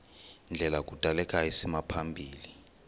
ndlela kudaleka isimaphambili